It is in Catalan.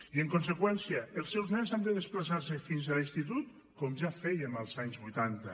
i en conseqüència els seus nens han de desplaçar se fins a l’institut com ja fèiem als anys vuitanta